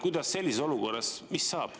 Mis sellises olukorras saab?